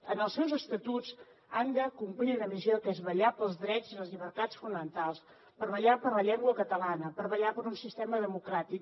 en els seus estatuts han de complir una missió que és vetllar pels drets i les llibertats fonamentals vetllar per la llengua catalana vetllar per un sistema democràtic